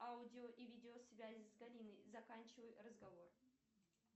аудио и видеосвязь с галиной заканчивай разговор